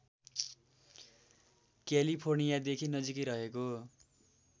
क्यालिफोर्नियादेखि नजिकै रहेको